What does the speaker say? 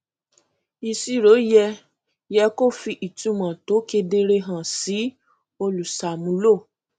ìṣirò yẹ yẹ kó fi ìtumọ tó kedere hàn sí olùṣàmúlò